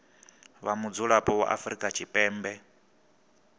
vha mudzulapo wa afrika tshipembe